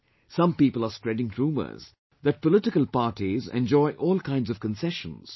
Some people are spreading rumours that political parties enjoy all kinds of concessions